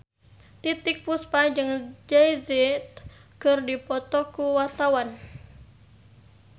Titiek Puspa jeung Jay Z keur dipoto ku wartawan